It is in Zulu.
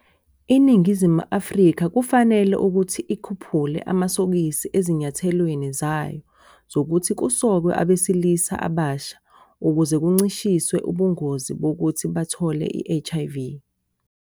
INingizimu Afrika kufanele ukuthi ikhuphule amasokisi ezinyathelweni zayo zokuthi kusokwe abesilisa abasha ukuze kuncishiswe ubungozi bokuthi bathole i-HIV.